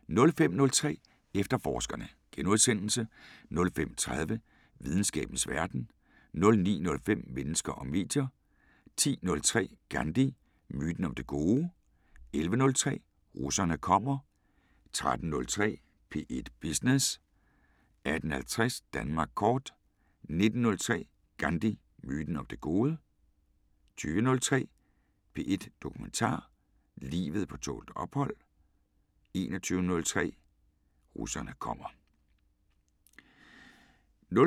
05:03: Efterforskerne * 05:30: Videnskabens Verden * 09:05: Mennesker og medier 10:03: Gandhi – myten om det gode? 11:03: Russerne kommer 13:03: P1 Business 18:50: Danmark Kort 19:03: Gandhi – myten om det gode? * 20:03: P1 Dokumentar: Livet på tålt ophold * 21:03: Russerne kommer *